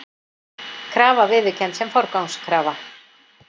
Krafa viðurkennd sem forgangskrafa